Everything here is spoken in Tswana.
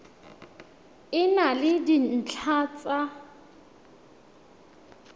e na le dintlha tsa